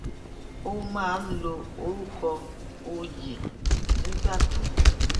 ó máa ń lo orúkọ oyè nígbà tó